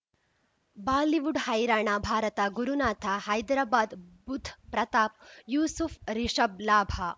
Bollywood ಹೈರಾಣ ಭಾರತ ಗುರುನಾಥ ಹೈದರಾಬಾದ್ ಬುಧ್ ಪ್ರತಾಪ್ ಯೂಸುಫ್ ರಿಷಬ್ ಲಾಭ